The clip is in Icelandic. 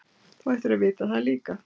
Þú ættir að vita það líka.